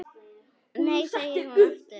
Nei segir hún aftur.